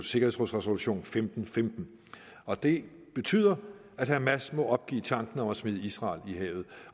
sikkerhedsråds resolution femten femten og det betyder at hamas må opgive tanken om at smide israel i havet